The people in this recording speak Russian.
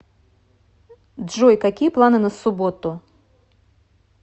джой какие планы на субботу